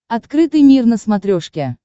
открытый мир на смотрешке